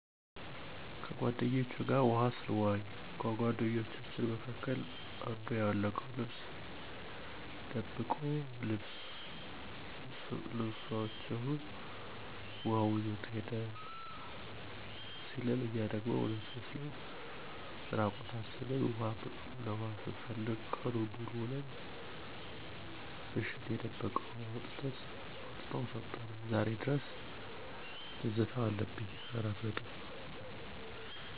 ከጓደኞቸ ጋር ውሀ ሰንዋኝ ከጓደኞቻችን መካከል አንዱ ያወለቅነውን ልብስ ደብቆ ልብሰችሁንማ ውሀው ይዞት ሄደ ሲለን እኛ ደሞ እውነቱን መስሎን እራቁታችን ውሀ ለኋ ስንፈልግ ቀኑን ሙሉ ውለን ምሽት የደበቀውን አውጥቶ ሰጠን ዛሬ ድረስ ትዝታው አለብኝ።